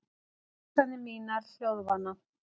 Hugsanir mínar hljóðvana.